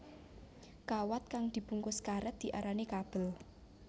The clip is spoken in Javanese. Kawat kang dibungkus karét diarani kabel